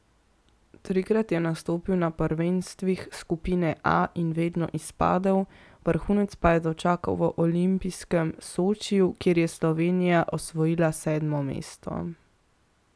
Trikrat je nastopil na prvenstvih skupine A in vedno izpadel, vrhunec pa je dočakal v olimpijskem Sočiju, kjer je Slovenija osvojila sedmo mesto.